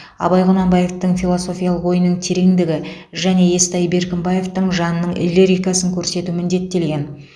абай құнанбаевтың философиялық ойының тереңдігі және естай беркімбаевтың жанының лирикасын көрсету міндеттелген